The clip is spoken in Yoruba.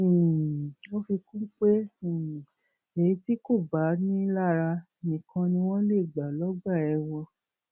um ó fi kún un pé um èyí tí kò bá ni ín lára nìkan ni wọn lè gbà lọgbà ẹwọn